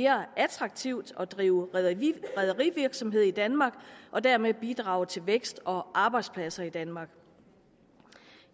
mere attraktivt at drive rederivirksomhed i danmark og dermed bidrage til vækst og arbejdspladser i danmark